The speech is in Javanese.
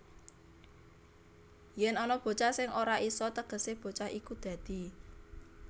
Yèn ana bocah sing ora isa tegesé bocah iku dadi